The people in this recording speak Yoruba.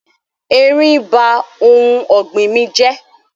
Eerín ba oun ògbìn mí jẹ́